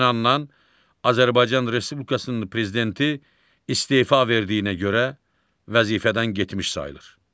Həmin andan Azərbaycan Respublikasının prezidenti istefa verdiyinə görə vəzifədən getmiş sayılır.